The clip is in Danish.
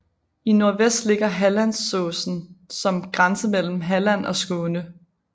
I nordvest ligger Hallandsåsen som grænse mellem Halland og Skåne